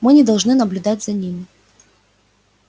мы не должны наблюдать за ними